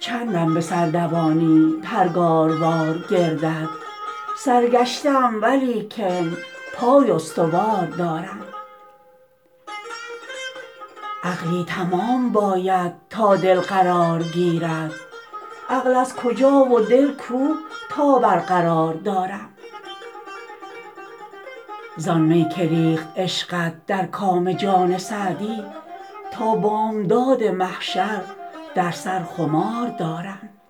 چندم به سر دوانی پرگاروار گردت سرگشته ام ولیکن پای استوار دارم عقلی تمام باید تا دل قرار گیرد عقل از کجا و دل کو تا برقرار دارم زآن می که ریخت عشقت در کام جان سعدی تا بامداد محشر در سر خمار دارم